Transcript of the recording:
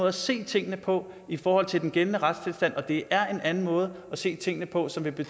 at se tingene på i forhold til den gældende retstilstand og det er en anden måde at se tingene på som vil